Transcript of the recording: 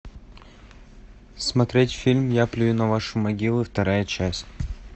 смотреть фильм я плюю на ваши могилы вторая часть